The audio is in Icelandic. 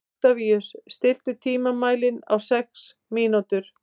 Oktavíus, stilltu tímamælinn á sex mínútur.